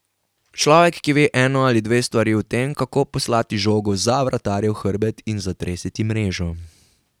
Človek, ki ve eno ali dve stvari o tem, kako poslati žogo za vratarjev hrbet in zatresti mrežo.